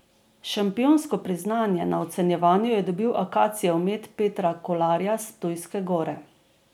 Šampionsko priznanje na ocenjevanju je dobil akacijev med Petra Kolarja s Ptujske Gore.